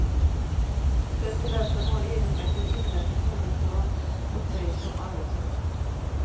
Presidenten har egenmäktigt inrett ett hemligt hörn åt sig som arbetsrum.